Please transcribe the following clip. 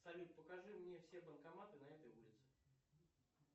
салют покажи мне все банкоматы на этой улице